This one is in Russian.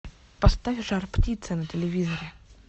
поставь жар птица на телевизоре